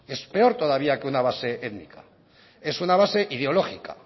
es peor todavía que una base étnica es una base ideológica